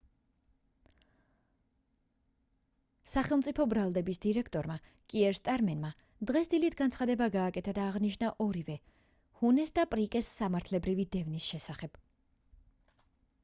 სახელმწიფო ბრალდების დირექტორმა კიერ სტარმერმა დღეს დილით განცხადება გააკეთა და აღნიშნა ორივე ჰუნეს და პრიკეს სამართლებრივი დევნის შესახებ